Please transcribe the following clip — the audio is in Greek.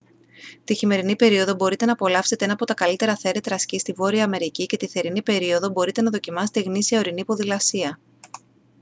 τη χειμερινή περίοδο μπορείτε να απολαύσετε ένα από τα καλύτερα θέρετρα σκι στη βόρεια αμερική και τη θερινή περίοδο μπορείτε να δοκιμάσετε γνήσια ορεινή ποδηλασία